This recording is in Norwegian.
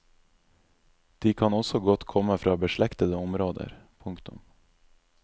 De kan også godt komme fra beslektede områder. punktum